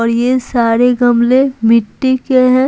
और ये सारे गमले मिट्टी के हैं।